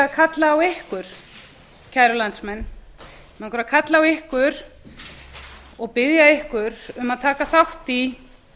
kalla á ykkur kæru landsmenn mig langar að kalla á ykkur og biðja ykkur um að taka þátt í